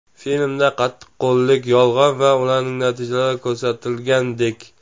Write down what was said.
Filmda qattiqqo‘llik, yolg‘on va ularning natijalari ko‘rsatilgandek.